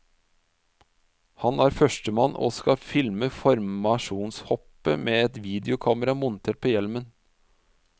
Han er førstemann og skal filme formasjonshoppet med et videokamera montert på hjelmen.